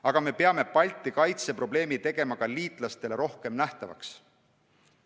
Aga me peame Balti kaitse probleemi tegema ka liitlastele rohkem nähtavaks.